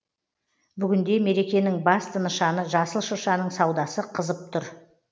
бүгінде мерекенің басты нышаны жасыл шыршаның саудасы қызып тұр